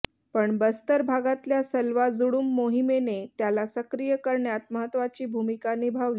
पण बस्तर भागातल्या सलवा जुडूम मोहिमेने त्याला सक्रिय करण्यात महत्त्वाची भूमिका निभावली